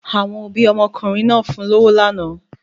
Àwọn òbí ọmọkùnrin náà fún lọ́wọ́ lánàá.